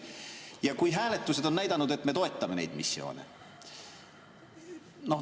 Ja hääletused on näidanud, et me toetame neid missioone.